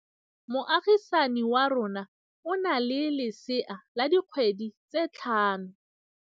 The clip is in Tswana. Moagisane wa rona o na le lesea la dikgwedi tse tlhano.